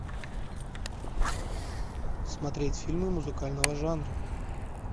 смотреть фильмы музыкального жанра